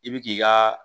I bi k'i ka